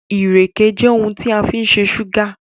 ireke je oun kan ti a fin se súgà